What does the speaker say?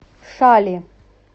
шали